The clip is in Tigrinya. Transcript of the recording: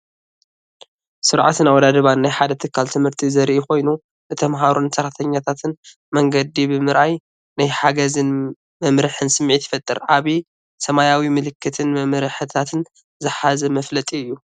ስርዓትን ኣወዳድባን ናይ ሓደ ትካል ትምህርቲ ዘርኢ ኮይኑ፡ ንተማሃሮን ሰራሕተኛታትን መንገዲ ብምርኣይ ናይ ሓገዝን መምርሕን ስምዒት ይፈጥር። ዓቢይ ሰማያዊ ምልክትን መምርሕታትን ዝሓዘ መፋለጢ እዩ።